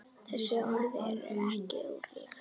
Þessi orð eru ekki úrelt.